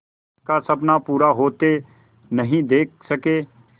का सपना पूरा होते नहीं देख सके